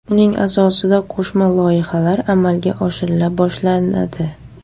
Uning asosida qo‘shma loyihalar amalga oshirila boshlanadi.